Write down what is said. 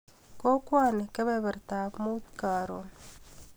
Kokwani, kebebertap muut karon.